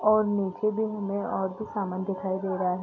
और नीचे भी हमे और भी सामान दिखाई दे रहा है।